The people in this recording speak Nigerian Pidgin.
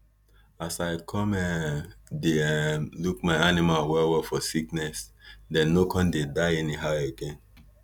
as i come um dey um look my animal well well for sickness dem no come dey die anyhow again